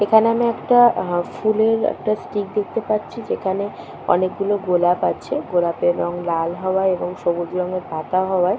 এখানে আমি একটা এ ফুলের একটা স্টিক দেখতে পাচ্ছি। যেখানে অনেকগুলো গোলাপ আছে এবং গোলাপের রঙ লাল হওয়ায় এবং সবুজ রঙের পাতা হওয়ায়--